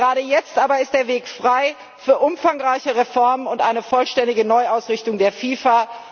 Gerade jetzt aber ist der Weg frei für umfangreiche Reformen und eine vollständige Neuausrichtung der FIFA.